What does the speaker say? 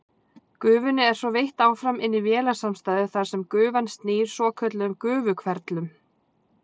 Gufunni er svo veitt áfram inn í vélasamstæðu þar sem gufan snýr svokölluðum gufuhverflum.